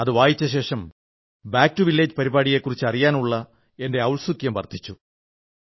അത് വായിച്ചശേഷം back to village പരിപാടിയെക്കുറിച്ച് അറിയാനുള്ള എന്റെ ഔത്സുക്യം വർധിച്ചു